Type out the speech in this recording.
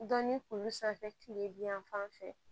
Dɔnni kulu sanfɛ tile bi yan fan fɛ